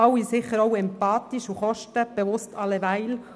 Sicher sind Sie alle empathisch, und kostenbewusst sind Sie sowieso.